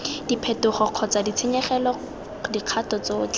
diphetogo kgotsa ditshenyegelo dikgato tsotlhe